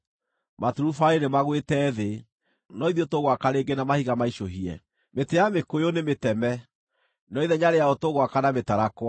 “Maturubarĩ nĩmagwĩte thĩ, no ithuĩ tũgwaka rĩngĩ na mahiga maicũhie; mĩtĩ ya mĩkũyũ nĩmĩteme, no ithenya rĩayo tũgwaka na mĩtarakwa.”